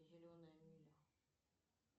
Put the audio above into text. зеленая миля